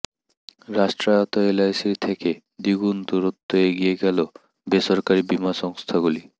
রাষ্ট্রায়ত্ত এলআইসির থেকে দ্বিগুণ দূরত্ব এগিয়ে গেল বেসরকারি বিমা সংস্থাগুলি